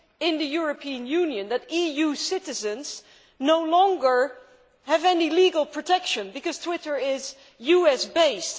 in the European Union EU citizens no longer have any legal protection, because Twitter is US based.